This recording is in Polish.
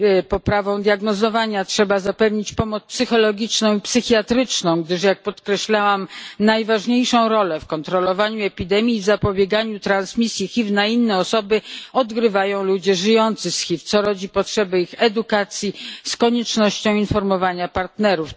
poprawą diagnozowania trzeba zapewnić pomoc psychologiczną i psychiatryczną, gdyż jak podkreślałam najważniejszą rolę w kontrolowaniu epidemii, w zapobieganiu transmisji HIV na inne osoby odgrywają ludzie żyjący z HIV, co rodzi potrzebę ich edukacji z koniecznością informowania partnerów.